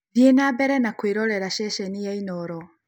Thiĩ na mbere na kũirorera cecenĩ ya Inooro.